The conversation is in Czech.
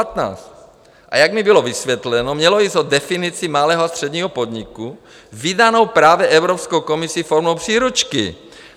A jak mi bylo vysvětleno, mělo jít o definici malého a středního podniku vydanou právě Evropskou komisi formou příručky.